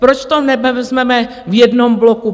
Proč to nevezmeme v jednom bloku?